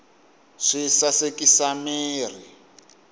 swi sasekisa mirhi